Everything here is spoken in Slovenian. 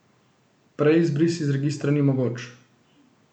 Prej izbris iz registra ni mogoč.